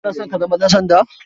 Kana son ka zama ɗansanda?